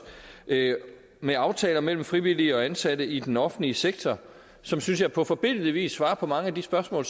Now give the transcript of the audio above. med aftaler mellem frivillige og ansatte i den offentlige sektor som synes jeg på forbilledlig vis svarer på mange af de spørgsmål